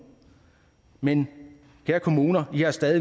men kære kommuner i har stadig